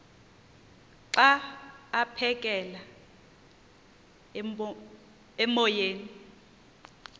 xa aphekela emoyeni